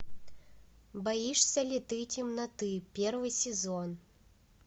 боишься ли ты темноты первый сезон